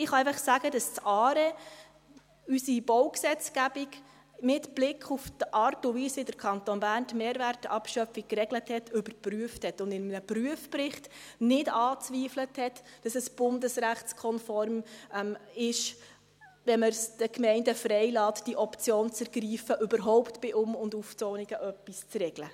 Ich kann einfach sagen, dass das ARE unsere Baugesetzgebung – mit Blick auf die Art und Weise, wie der Kanton Bern die Mehrwertabschöpfung geregelt hat – überprüft und in einem Prüfbericht nicht angezweifelt hat, dass diese bundesrechtskonform ist, wenn man es den Gemeinden frei lässt, diese Option zu ergreifen, überhaupt bei Um- und Aufzonungen etwas zu regeln.